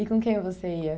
E com quem você ia?